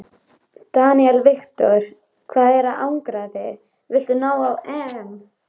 Daniel Victor: Hvaða árangri viltu ná á EM?